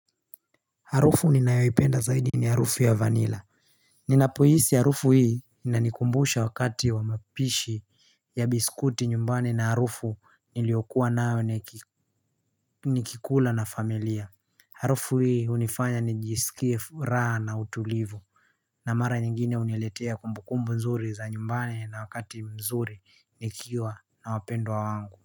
Harufu ninayawipenda zaidi ni harufu ya vanilla Ninapohisi harufu hii ina nikumbusha wakati wa mapishi ya biskuti nyumbani na harufu niliokuwa nae ni kikula na familia Harufu hii hunifanya nijisikie furaha na utulivu na mara nyingine huniletea kumbukumbu nzuri za nyumbani na wakati mzuri nikiwa na wapendwa wangu.